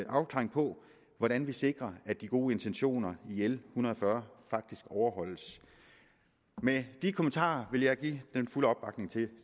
afklaring på hvordan vi sikrer at de gode intentioner i l en hundrede og fyrre faktisk overholdes med de kommentarer vil jeg give den fulde opbakning til